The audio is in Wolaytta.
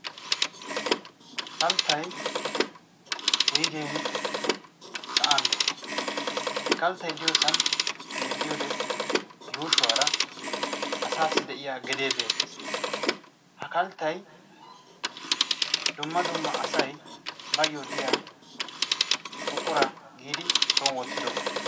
Kalttay wuyigeeni sa'an de'ees. he kalttay diyoosan xeelliyoode yuushshuwaara asaassi de'iyaa gedee beettees. ha kalttay dumma dumma asay bayoo diyaa buqura giidi son wottidoba.